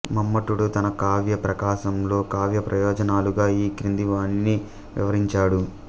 మమ్మటుడు తన కావ్య ప్రకాశంలో కావ్య ప్రయోజనాలుగా ఈ క్రింది వానిని వివరించాడు